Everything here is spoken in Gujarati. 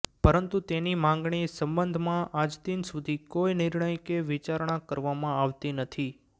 પરંતુ તેની માંગણી સબંધમાં આજદિન સુધી કોઈ નિર્ણય કે વિચારણા કરવામાં આવતી નથી